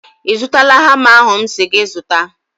I zụtala hama ahụ m si gị zụta?